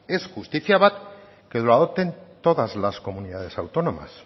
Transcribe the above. es justizia bat que lo adopten todas las comunidades autónomas